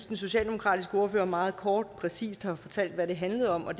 den socialdemokratiske ordfører meget kort og præcist har fortalt hvad det handler om og